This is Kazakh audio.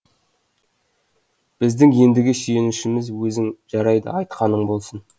біздің ендігі сүйенішіміз өзің жарайды айтқаның болсын